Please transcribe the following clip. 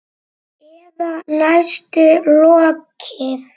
Eða næstum lokið.